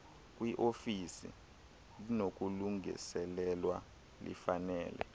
kwiofisi linokulungiselelwa lifanele